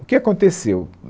O que aconteceu?